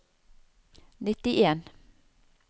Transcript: nittien